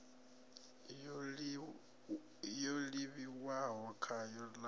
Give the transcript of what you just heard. yo livhiwaho khayo ya ḽu